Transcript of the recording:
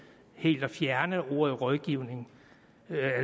helt at fjerne ordet rådgiver